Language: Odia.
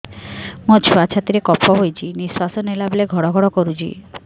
ମୋ ଛୁଆ ଛାତି ରେ କଫ ହୋଇଛି ନିଶ୍ୱାସ ନେଲା ବେଳେ ଘଡ ଘଡ କରୁଛି